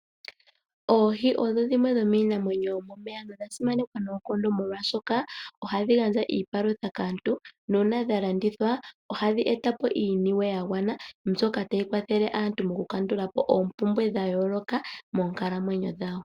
Oohi odho dhimwe dhomiinamwenyo yomomeya nodha simanekwa noonkondo, molwashoka ohadhi gandja iipalutha kaantu, nuuna dha landithwa, ohadhi eta po iiniwe ya gwana mbyoka tayi kwathele aantu mokukandula po oompumbwe dha yooloka moonkalamwenyo dhawo.